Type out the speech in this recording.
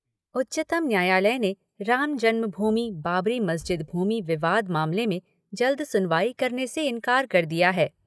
उच्चतम न्यायालय ने राम जन्म भूमि बाबरी मस्जिद भूमि विवाद मामले में जल्द सुनवाई करने से इंकार कर दिया है।